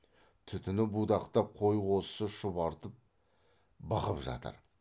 түтіні будақтап қой қозысы шұбартып бықып жатыр